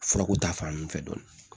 Furako ta fan fɛ dɔɔnin